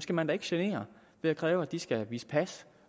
skal man da ikke genere ved at kræve at de skal vise pas